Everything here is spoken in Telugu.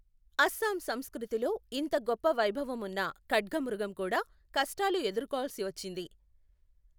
అస్సాం సంస్కృతిలో ఇంత గొప్ప వైభవం ఉన్న ఖడ్గమృగం కూడా కష్టాలు ఎదుర్కోవాల్సి వచ్చింది.